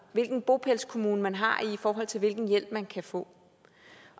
hvilken bopælskommune man har i forhold til hvilken hjælp man kan få